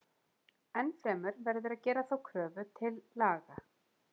Enn fremur verður að gera þá kröfu til laga.